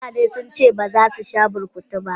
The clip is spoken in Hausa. Mutane since baza su sha burkutu ba.